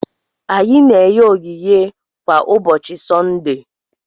Anyị na-enye onyinye kwa ụbọchị Sọnde.